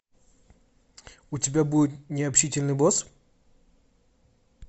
у тебя будет необщительный босс